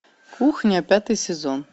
кухня пятый сезон